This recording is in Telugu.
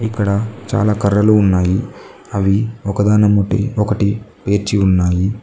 ఇక్కడ చాలా కర్రలు ఉన్నాయి అవి ఒకదానెమ్మటి ఒకటి పేర్చి ఉన్నాయి.